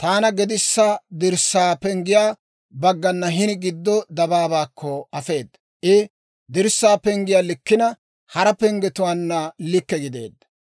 taana gedissa dirssaa penggiyaa baggana hini giddo dabaabaakko afeeda. I dirssaa penggiyaa likkina, hara penggetuwaanna likke gideedda.